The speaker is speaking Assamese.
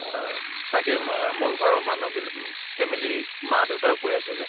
অহ তাকে মা মোৰ ঘৰৰ মানুহ বিলা family মা দেউতাও কৈ আছিলে।